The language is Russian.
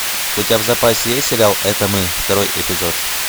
у тебя в запасе есть сериал это мы второй эпизод